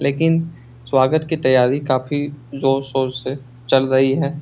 लेकिन स्वागत की तैयारी काफी जोर-शोर से चल रही है।